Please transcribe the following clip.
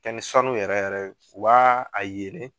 kɛ ni sanu yɛrɛ yɛrɛ ye o b'a a yelen